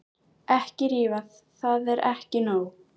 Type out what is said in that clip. Ekki rífa, það er ekki nóg.